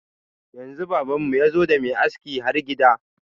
Yanzu baban mu yazo da mai aski har gida.